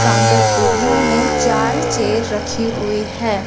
Counter area में चार chair रखी हुई है।